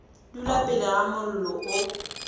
dula pele ga mollo o